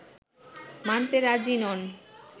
মানতে রাজি নন